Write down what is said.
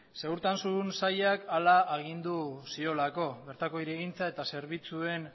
segurtasun sailak hala agindu ziolako bertako hirigintza eta zerbitzuen